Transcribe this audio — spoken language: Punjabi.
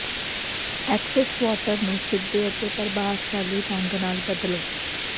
ਐਕਸੈਸ ਵਾਟਰ ਨੂੰ ਸਿੱਧੇ ਅਤੇ ਪ੍ਰਭਾਵਸ਼ਾਲੀ ਢੰਗ ਨਾਲ ਬਦਲੋ